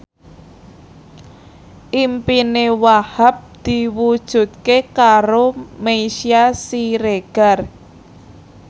impine Wahhab diwujudke karo Meisya Siregar